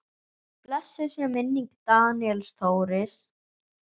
Blessuð sé minning Daníels Þóris.